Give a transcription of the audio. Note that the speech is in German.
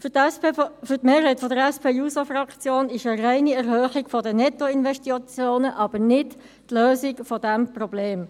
Für die Mehrheit der SP-JUSO-PSA-Fraktion ist eine reine Erhöhung der Nettoinvestitionen aber nicht die Lösung dieses Problems.